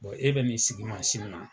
e bɛ n'i sigi mansin na